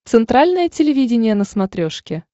центральное телевидение на смотрешке